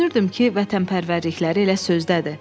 Düşünürdüm ki, vətənpərvərlikləri elə sözdədir.